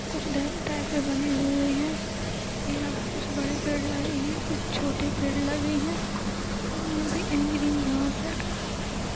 कुछ drum type के बने हुए हैं यहाँ पे कुछ बड़े पेड़ लगे हैं कुछ छोटे पेड़ लगे हैं। यहाँ पे एक ग्रीन घास है।